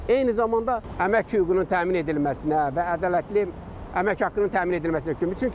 Eyni zamanda əmək hüququnun təmin edilməsinə və ədalətli əmək haqqının təmin edilməsinə köməkdir.